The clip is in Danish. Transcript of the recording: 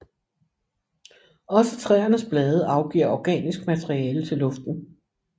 Også træernes blade afgiver organisk materiale til luften